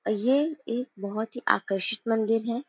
ये एक बहुत ही आकर्षित मंदिर है।